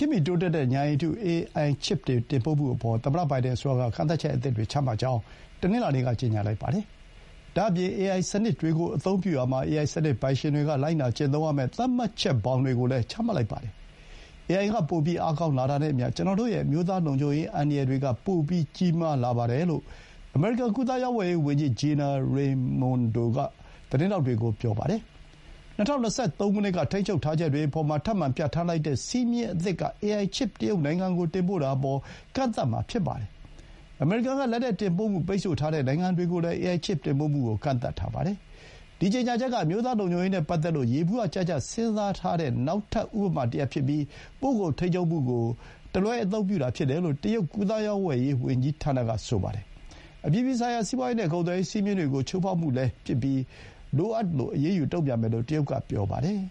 တ်မီ တိုးတက်တဲ့ ဥာဏ်ရည်တု ချစ်ပ်တွေ တင်ပို့မှု အပေါ် သမ္မတ ဘိုင်ဒန် အစိုးရ က ကန့်သတ်ချက်အသစ်တွေ ချမှတ်ကြောင်း တနင်္လာနေ့က ကြေညာလိုက်ပါတယ်။ ဒါ့အပြင် AI အေအိုင်စနစ်တွေကို အသုံးပြုရာမှာ အေအိုင်စနစ် ပိုင်ရှင်တွေက လိုက်နာကျင့်သုံးရမယ့် သတ်မှတ်ချက်ဘောင်တွေကိုလည်း ချမှတ်လိုက်ပါတယ်။ အေအိုင်က ပိုပြီး အားကောင်း လာတာနဲ့အမျှ၊ ကျွန်တော်တို့ရဲ့ အမျိုးသား လုံခြုံရေး အန္တရာယ်တွေက ပိုပြီး ကြီးမားလာပါတယ်လို့ အမေရိကန် ကူးသန်းရောင်းဝယ်ရေး ဝန်ကြီး Gina Raimondo က သတင်းထောက်တွေကို ပြောပါတယ်။ ၂၀၂၃ ခုနှစ်က ထိန်းချုပ်ထားချက်တွေ အပေါ်မှာ ထပ်မံ ပြဌာန်းလိုက်တဲ့ စည်းမျဥ်းအသစ်က အေအိုင်ချစ်ပ် တရုတ်နိုင်ငံကို တင်ပို့တာအပေါ် ကန့်သတ်မှာ ဖြစ်ပါတယ်။ အမေရိကန် က လက်နက်တင်ပို့မှု ပိတ်ဆို့ထားတဲ့ နိုင်ငံတွေကိုလည်း အေအိုင်ချစ်တင်ပို့မှုကို ကန့်သတ်ထားပါတယ်။ ဒီ ကြေညာချက်က အမျိုးသား လုံခြုံရေး နဲ့ ပတ်သက်လို့ ယေဘုယျကျကျ စဥ်းစားတဲ့ နောက်ထပ် ဥပမာတရပ် ဖြစ်ပြီး ပို့ကုန်ထိန်းချုပ်မှုကို တလွဲအသုံးပြုတာ ဖြစ်တယ်လို့ တရုတ် ကူးသန်းရောင်းဝယ်ရေး ဝန်ကြီးဌာနက ဆိုပါတယ်။ အပြည်ပြည်ဆိုင်ရာ စီးပွါးရေး နဲ့ ကုန်သွယ်ရေး စည်းမျဥ်းတွေကို ချိုးဖောက်မှုလည်း ဖြစ်ပြီး လိုအပ်တဲ့ အရေးယူဆောင်ရွက်မှုတွေနဲ့ တုံ့ပြန်မယ်လို့ တရုတ်က ပြောပါတယ်